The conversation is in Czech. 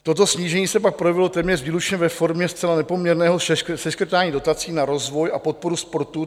Toto snížení se pak projevilo téměř výlučně ve formě zcela nepoměrného seškrtání dotaci na rozvoj a podporu sportu.